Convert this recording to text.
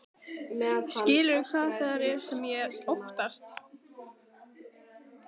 Skilurðu hvað það er sem ég óttast?